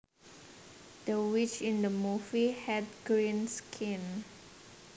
The witch in the movie had green skin